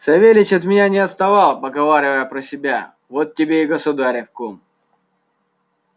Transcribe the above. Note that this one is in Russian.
савельич от меня не отставал поговаривая про себя вот тебе и государев кум